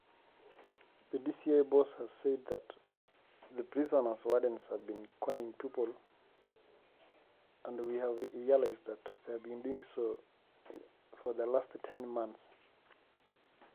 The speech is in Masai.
Etolimuo olkitok le DCI nchere ore ilkituaak jela netaa kegira aokoon iltungana to lapaitin tomon otogiroitie.